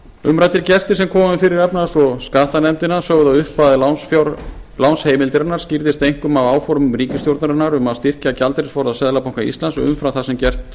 umræddir gestir sem komu fyrir efnahags og skattanefndina sögðu að upphæð lánsheimildarinnar skýrðist einkum af áformum ríkisstjórnarinnar um að styrkja gjaldeyrisforða seðlabanka íslands umfram það sem gert